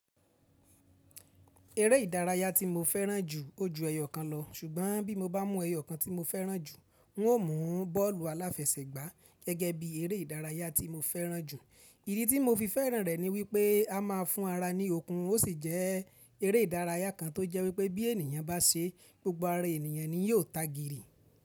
Eré ìdárayá tí mo fẹ́ràn jù, ó ju ẹyọ̀kan lọ, ṣùgbọ́n bí mo bá mú ẹyọ̀kan tí mo fẹ́ràn jù, n óò mú bọ́ọ̀lù aláfẹsẹ̀gbá gẹ́gẹ́ bí eré ìdárayá tí mo fẹ́ràn jù. Ìdí tí mo fi fẹ́ràn rẹ̀ ni wípé a máa fún ara ní okun, ó sì jẹ́ eré ìdárayá kan tó jẹ́ wípé bí ènìyàn bá ṣe, gbogbo ara ènìyàn ni yóò tagìrì.